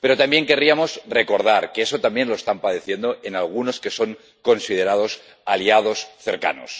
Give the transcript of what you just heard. Pero también querríamos recordar que eso también lo están padeciendo en algunos que son considerados aliados cercanos.